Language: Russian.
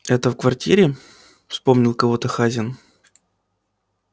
это в квартире вспомнил кого-то хазин